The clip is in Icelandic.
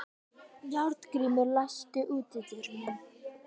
Járngrímur, læstu útidyrunum.